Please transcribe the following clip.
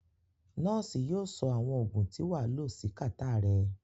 Nurse náà yio so àwon ògùn tí wàa lo si catarrh rẹ